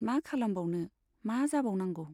मा खालामबावनो , मा जाबावनांगौ !